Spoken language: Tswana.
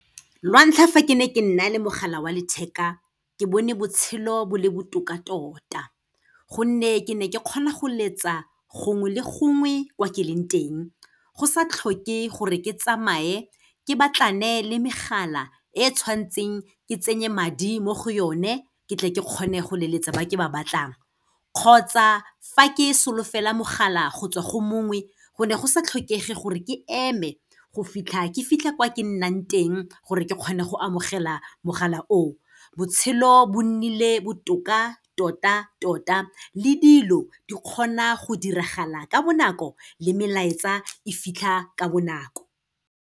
Lantlha fa ke ne ke nna le mogala wa letheka, ke bone botshelo bo le botoka tota, gonne ke ne ke kgona go letsa gongwe le gongwe kwa ke leng teng, go sa tlhoke gore ke tsamaye ke batlane le megala, e e tshwantseng ke tsenya madi mo go yone, ke tle ke kgone go leletsa ba ke ba batlang. Kgotsa fa ke solofela mogala go tswa go mongwe, go ne go sa tlhokege gore ke eme go fitlha, ke fitlha kwa ke nnang teng gore ke kgone go amogela mogala o. Botshelo bo nnile botoka tota-tota le dilo di kgona go diragala ka bonako le melaetsa e fitlha ka bonako.